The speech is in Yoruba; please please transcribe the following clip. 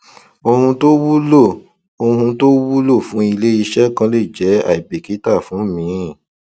ohun tó wúlò ohun tó wúlò fún ilé iṣẹ kan lè jẹ aibikita fún míì